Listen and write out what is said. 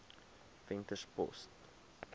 venterspost